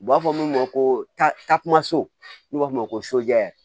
U b'a fɔ min ma ko ta taa kuma so n'u b'a f'o ma ko